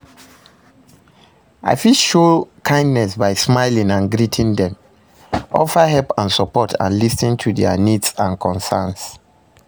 I fit show kindness by smiling and greeting dem, offer help and support and lis ten to their needs and concerns.